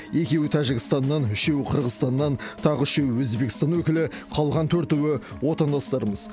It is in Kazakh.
екеуі тәжікстаннан үшеуі қырғызстаннан тағы үшеуі өзбекстан өкілі қалған төртеуі отандастарымыз